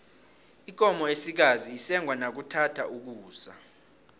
ikomo esikazi isengwa nakuthatha ukusa